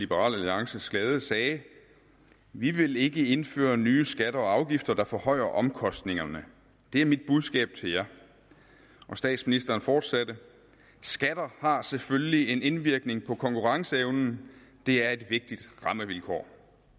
liberal alliances glæde sagde vi vil ikke indføre nye skatter og afgifter der forhøjer omkostningerne det er mit budskab til jer og statsministeren fortsatte skatter har selvfølgelig en indvirkning på konkurrenceevnen det er et vigtigt rammevilkår